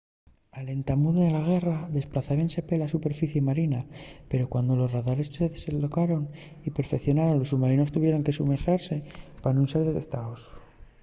al entamu de la guerra desplazábense pela superficie marina pero cuando los radares se desendolcaron y perfeicionaron los submarinos tuvieron de somorguiase pa nun ser detectaos